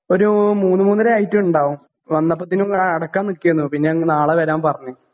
ഒരു മൂന്നു മൂന്നരയായിട്ടിണ്ടാകും വന്നപ്പത്തിനും അടക്കാൻ നിക്കയാരുന്നു പിന്നെയങ്ങ് നാളെവരാൻ പറഞ്ഞു.